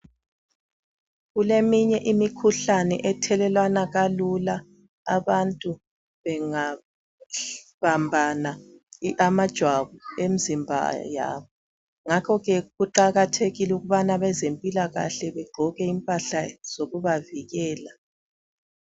Kuleminye imikhuhlane ethelelwana kalula abantu bengabambana amajwabu emzimba yabo. Ngakho-ke kuqakathekile ukubana abezempilakahle begqoke impahla zokubavikela.